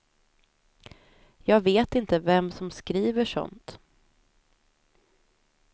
Jag vet inte vem som skriver sådant.